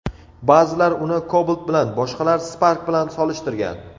Ba’zilar uni Cobalt bilan, boshqalar Spark bilan solishtirgan.